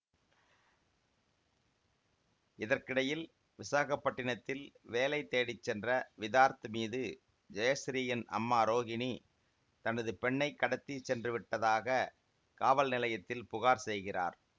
இதற்கிடையில் விசாகப்பட்டினத்தில் வேலை தேடி சென்ற விதார்த் மீது ஜெயசிறீயின் அம்மா ரோகிணி தனது பெண்ணை கடத்தி சென்றுவிட்டதாக காவல் நிலையத்தில் புகார் செய்கிறார்